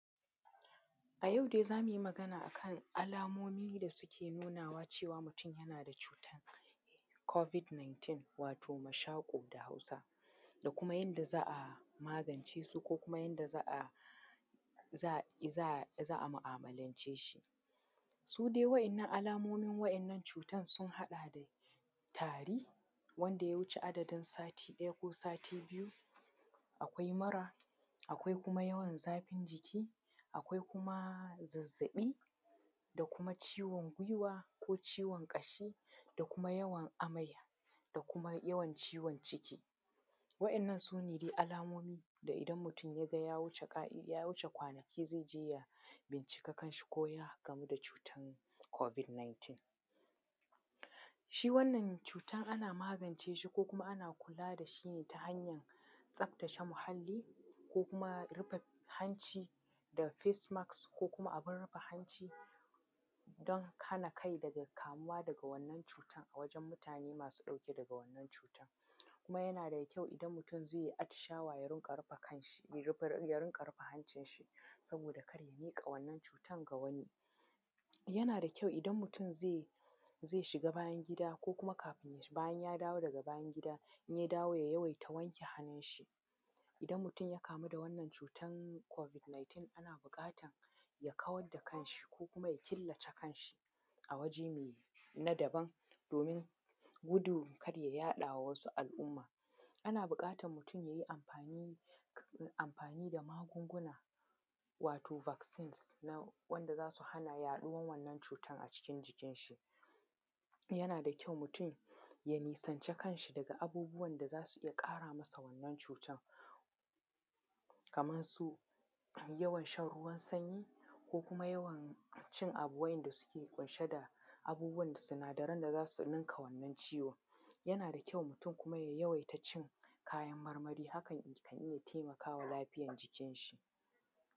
A yau dai za mu yi magana a kan alamomi da suke nunawa cewa mutum yana da cutar COVID 19, wato mashaƙo da Hausa, da kuma yanda za a magance su, ko kuma yadda za a, za a, za a mu'amalance shi. Su dai wa'yannan alamomin wa'yannan cutan sun haɗa da tari, wanda ya wuce adadin sati ɗaya ko sati biyu. Akwai mura; akwai kuma yawan zafin jiki; akwai kuma zazzaɓi, da kuma ciwon gwiwa ko ciwon ƙashi; da kuma yawan amai; da kuma yawan ciwon ciki. Wa'yannan su ne dai alamomi da idan mutum ya ga ya wuce ka'id, ya wuce kwanaki zai je ya bincike kanshi ko ya kamu da cutan COVID 19. Shi wannan cutan ana magance shi, ko kuma ana kula da shi ne ta hanyan tsaftace muhalli, ko kuma rufe hanci da facemasks, ko kuma abun rufe hanci, don hana kai daga kamuwa daga wannan cutan a wajen mutane masu ɗauke daga wannan cutan. Kuma yana da kyau, idan mutum zai yi atishawa ya riƙa rufe kanshi, ya rufa ya rinƙa rufa hancinshi, saboda kada ya miƙa cutan ga wani. Yana da kyau idan mutum zai, zai shiga bayan-gida ko kuma kafin bayan ya dawo daga bayan-gida, in ya dawo ya yawaita wanke hannunshi. Idan mutum ya kamu wannan cutan COVID 19, ana buƙatan ya kawar da kanshi, ko kuma ya killace kanshi a waje mai na daban domin gudun kada ya yaɗa ma wasu al'umma. Ana buƙatan mutum ya yi amfani kas, amfani da magunguna, wato vaccines na wanda za su hana yaɗuwan wannan cutan a cikin jikinshi. Yana da kyau mutum ya nisanci kanshi daga abubuwan da za su iya ƙara masa wannan cutan, kamar su yawan shan ruwan sanyi, ko kuma yawan cin abu wa'yanda suke ƙunshe da abubuwan dasinadaran da za su ninka wannan ciwon. Yana da kyau mutum kuma, ya yawaita cin kayan marmari. Hakan kan iya taimaka wa lafiyar jikinshi.